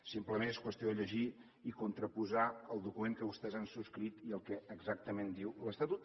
simplement és qüestió de llegir i contraposar el document que vostès han subscrit i el que exactament diu l’estatut